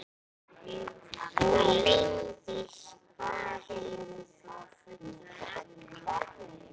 Líndís, hvað heitir þú fullu nafni?